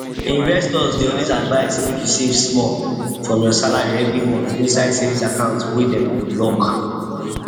investors dey always advise make you save small from your salary every month inside savings account wey dem go lock